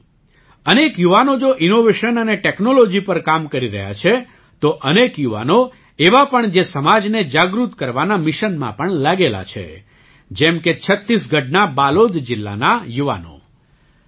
સાથીઓ અનેક યુવાનો જો ઇનૉવેશન અને ટૅક્નૉલૉજી પર કામ કરી રહ્યા છે તો અનેક યુવાનો એવા પણ જે સમાજને જાગૃત કરવાના મિશનમાં પણ લાગેલાં છે જેમ કે છત્તીસગઢના બાલોદ જિલ્લાના યુવાનો